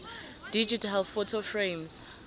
digital photo frames